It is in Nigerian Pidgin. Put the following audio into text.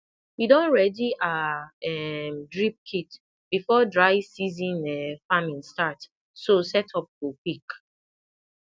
we don ready our um drip kit before dry season um farming start so setup go quick